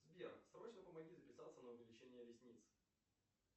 сбер срочно помоги записаться на увеличение ресниц